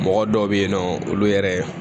Mɔgɔ dɔw bɛ yen nɔ olu yɛrɛ